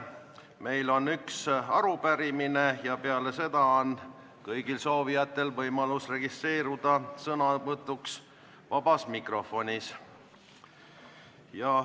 Meil on üks arupärimine ja peale seda on kõigil soovijatel võimalus registreeruda sõnavõtuks vabas mikrofonis.